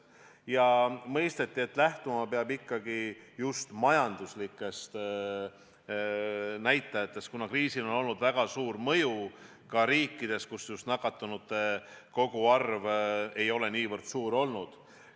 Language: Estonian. Samas on mõistetud, et lähtuma peab ikkagi just majanduslikest näitajatest, kuna kriisil on olnud väga suur mõju ka nendes riikides, kus nakatunute koguarv ei ole niivõrd suur olnud.